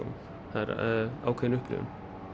það er ákveðin upplifun